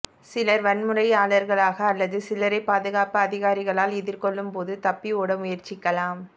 சிலர் வன்முறையாளர்களாக அல்லது சில்லறை பாதுகாப்பு அதிகாரிகளால் எதிர்கொள்ளும் போது தப்பி ஓட முயற்சிக்கலாம்